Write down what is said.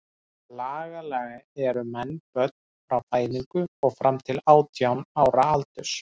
Lagalega eru menn börn frá fæðingu og fram til átján ára aldurs.